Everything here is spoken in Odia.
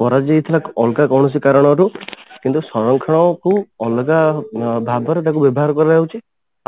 କରାଯାଇଥିଲା ଅଲଗା କୌଣସି କାରଣରୁ କିନ୍ତୁ ସଂରକ୍ଷଣକୁ ଅଲଗା ଭାବରେ ତାକୁ ବ୍ୟବହାର କରାଯାଉଛି